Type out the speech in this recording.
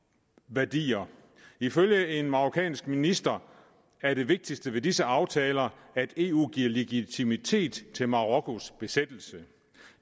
værdier ifølge en marokkansk minister er det vigtigste ved disse aftaler at eu giver legitimitet til marokkos besættelse